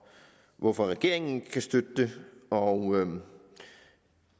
hvorfor regeringen ikke kan støtte det og